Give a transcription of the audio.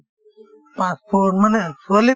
পাঁচ foot মানে ছোৱালিৰ